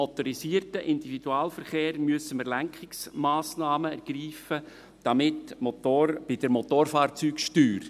Beim MiV müssen wir Lenkungsmassnahmen ergreifen, damit bei der Motorfahrzeugsteuer ...